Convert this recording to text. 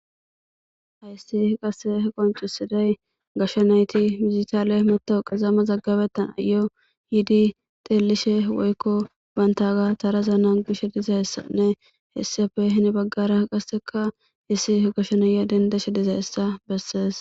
aysi qasse qoncusiday gashsha nayti mizitaale matawu qezamma zaggabettan ayo yiidi teellishe woykko bantaga tarazaana gishe dizayssanne hessafe hini baggara qasseka hissi hgashsha naya dendeshe dizayssa bessees